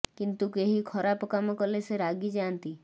କିନ୍ତୁ କେହି ଖରାପ କାମ କଲେ ସେ ରାଗି ଯାଆନ୍ତି